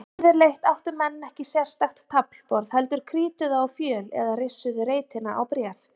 Yfirleitt áttu menn ekki sérstakt taflborð heldur krítuðu á fjöl eða rissuðu reitina á bréf.